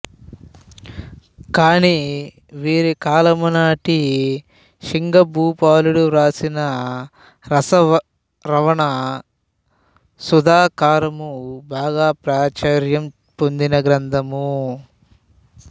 కాని వీరి కాలము నాటి సింగభూపాలుడు వ్రాసిన రసార్ణవ సుధాకరము బాగా ప్రాచుర్యం పొందిన గ్రంధము